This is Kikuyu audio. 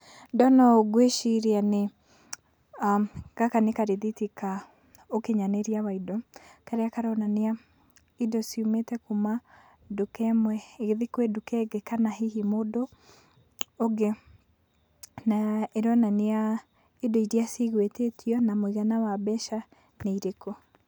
Ndona ũũ ngwĩciria nĩ, gaka nĩ karithiti ka ũkinyanĩria wa indo, karĩa karonania indo ciumĩte kuma nduka ĩmwe igĩthiĩ kwĩ nduka ĩngĩ kana hihi mũndũ ũngĩ, na ĩronania indo iria cigwĩtĩtio na mũigana wa mbeca nĩ irĩkũ.